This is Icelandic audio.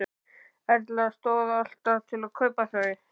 Erla: Stóð alltaf til að kaupa þau?